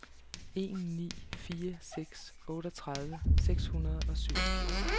en ni fire seks otteogtredive seks hundrede og syvogfirs